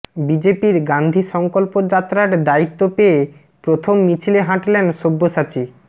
বিজেপির গান্ধী সংকল্প যাত্রার দায়িত্ব পেয়ে প্রথম মিছিলে হাঁটলেন সব্যসাচী